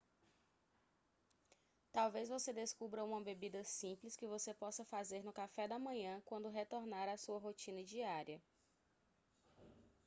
talvez você descubra uma bebida simples que você possa fazer no café da manhã quando retornar à sua rotina diária